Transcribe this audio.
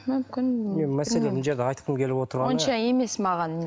мүмкін мәселе мына жерде айтқым келіп отырғаны онша емес маған